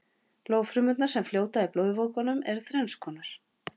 blóðfrumurnar sem fljóta í blóðvökvanum eru þrennskonar